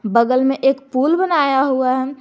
बगल में एक पुल बनाया हुआ है।